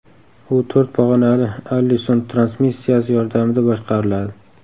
U to‘rt pog‘onali Allison transmissiyasi yordamida boshqariladi.